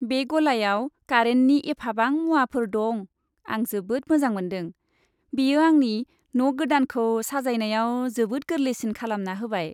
बे गलायाव कारेन्टनि एफाबां मुवाफोर दं, आं जोबोद मोजां मोनदों। बेयो आंनि न' गोदानखौ साजायनायाव जोबोद गोरलैसिन खालामना होबाय।